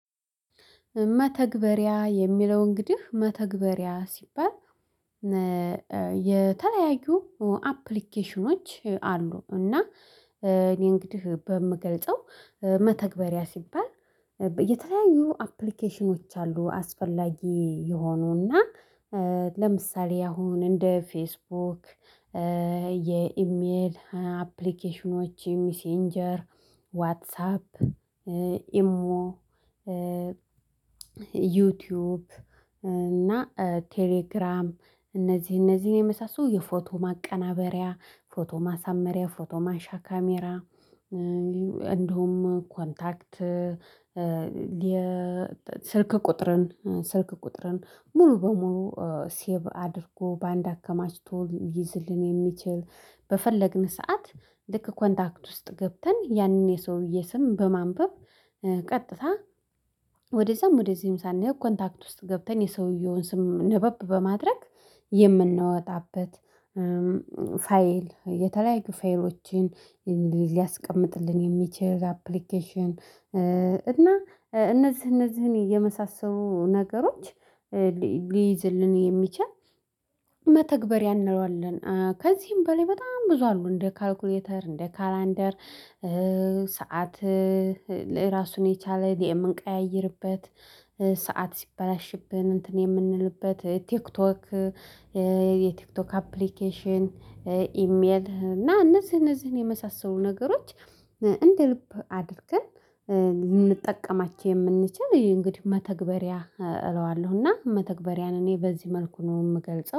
መተግበሪያ የሚለው እንግዲህ መተግበሪያ ሲባል የተለያዩ አፕሊኬሽኖች አሉ። እና እኔ እንግዲህ በምገልጸው መተግበሪያ ሲባል የተለያዩ አፕሊኬሽኖች አሉ። አስፈላጊ የሆኑና ለምሳሌ አሁን እንደ ፌስቡክ የኢሜል አፕሊኬሽኖች ሚሴንጀር ዋትሳፕ ኢሞ ዩቲዩብ እና ቴሌግራም እነዚህ እነዚህን የመሳሰሉ የፎቶ ማቀናበሪያ ፎቶ ማሳመሪያ ፎቶ ማሻ ካሜራ እንደውም ኮንታክት የስልክ ቁጥርን ስልክ ቁጥርን ሙሉ በሙሉ ሴቭ አድርጎ በአንድ አከማችቶ ይዝልን። የሚችል በፈለግን ሰዓት ልክ ኮንታክት ውስጥ ገብተን ያንን የሰውዬ ስም በማንበብ ቀጥታ ወደዛም ወደዚህም ሳንል ኮንታክት ውስጥ ገብተን የሰውየውን ስም ነበብ በማድረግ። የምንወጣበት ፋይል የተለያዩ ፋይሎችን ሊያስቀምጥልን የሚችል አፕሊኬሽን። እና እነዚህ እነዚህን የመሳሰሉ ነገሮች ሊይዝልን የሚችል መተግበር ያንለዋለን ከዚህም በላይ በጣም ብዙ አሉ። እንደ ካልኩሌተር እንደ ካላንደር ሰዓት ለራሱን የቻለ የምንቀያይርበት ሰዓት ሲበላሽብን እንትን የምንልበት ቲክቶክ የቲክቶክ አፕሊኬሽን። ኢሜል እና እነዚህ እነዚህን የመሳሰሉ ነገሮች እንደ ልብ አድርግም ልንጠቀማቸው የምንችል ይሄ እንግዲህ መተግበሪያ እለዋለሁና መተግበሪያን እኔ በዚህ መልኩ ነው የምገልጸው